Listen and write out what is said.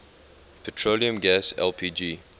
petroleum gas lpg